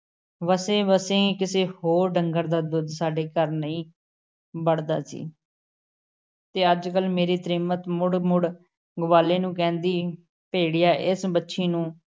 ਵਸੇਂ-ਵਸੇਂ ਕਿਸੇ ਹੋਰ ਡੰਗਰ ਦਾ ਦੁੱਧ ਸਾਡੇ ਘਰ ਨਹੀਂ ਵੜਦਾ ਸੀ । ਤੇ ਅੱਜ-ਕੱਲ ਮੇਰੀ ਤ੍ਰੀਮਤ ਮੁੜ- ਮੁੜ ਗਵਾਲੇ ਨੂੰ ਕਹਿੰਦੀ, ਭੈੜਿਆ ਇਸ ਵੱਛੀ ਨੂੰ